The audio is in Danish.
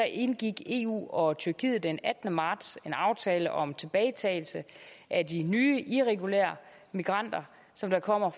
indgik eu og tyrkiet den attende marts en aftale om tilbagetagelse af de nye irregulære migranter som kommer